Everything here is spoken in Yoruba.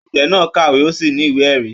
Agbẹ̀ náà kàwé, o sì ní ìwé-ẹ̀rí.